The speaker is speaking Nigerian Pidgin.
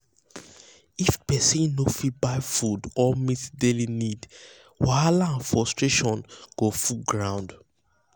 if pesin no fit buy food or meet daily need wahala and frustration go full ground.